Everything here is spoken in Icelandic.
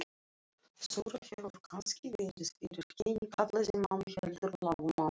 Þura hefur kannski verið fyrir henni kallaði mamma heldur lágmæltari.